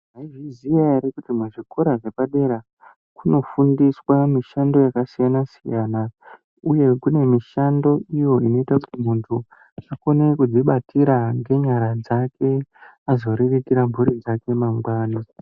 Maizviziyayo here kuti muzvikora zvepadera kunofundiswa mishando yakasiyana-siyana, uye kune mishando iyo inoita kuti munthu akone kudzibatira ngenyara dzake, azoriritira mphuri yake mangwani.